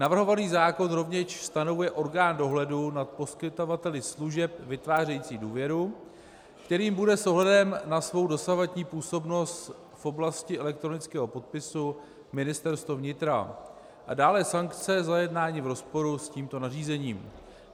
Navrhovaný zákon rovněž stanovuje orgán dohledu nad poskytovateli služeb vytvářejících důvěru, kterým bude s ohledem na svou dosavadní působnost v oblasti elektronického podpisu Ministerstvo vnitra, a dále sankce za jednání v rozporu s tímto nařízením.